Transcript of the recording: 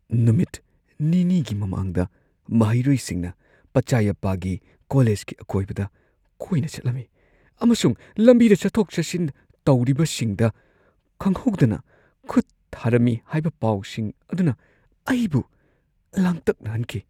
ꯅꯨꯃꯤꯠ ꯅꯤꯅꯤꯒꯤ ꯃꯃꯥꯡꯗ ꯃꯍꯩꯔꯣꯏꯁꯤꯡꯅ ꯄꯆꯥꯏꯌꯥꯞꯄꯥꯒꯤ ꯀꯣꯂꯦꯖꯀꯤ ꯑꯀꯣꯏꯕꯗ ꯀꯣꯏꯅ ꯆꯠꯂꯝꯃꯤ ꯑꯃꯁꯨꯡ ꯂꯝꯕꯤꯗ ꯆꯠꯊꯣꯛ ꯆꯠꯁꯤꯟ ꯇꯧꯔꯤꯕꯁꯤꯡꯗ ꯈꯪꯍꯧꯗꯅ ꯈꯨꯠ ꯊꯥꯔꯝꯃꯤ ꯍꯥꯏꯕ ꯄꯥꯎꯁꯤꯡ ꯑꯗꯨꯅ ꯑꯩꯕꯨ ꯂꯥꯡꯇꯛꯅꯍꯟꯈꯤ ꯫